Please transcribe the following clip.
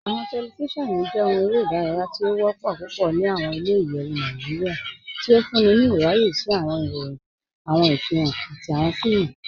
Awọn tẹlifíṣíọnu jẹ̀ òhùn èrè idáràyà tì o wọ́pọ̀ púpọ̀ ní awọn ilẹ̀-ìyẹ̀wù Nàìjíríà, tí ó fúnńí ní ìràyẹ̀ sí awọn ìròyìn, awọn ìfihan, àti awọn fíìmù.